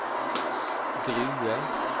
Grue